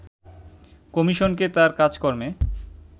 কমিশনকে তার কাজকর্মে